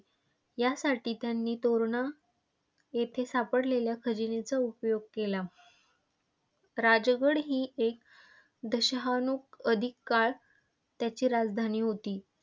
यासाठी त्यांनी तोरणा येथे सापडलेल्या खजिन्याचा उपयोग केला. राजगड ही एक दशकाहून अधिक काळ त्याची राजधानी होती.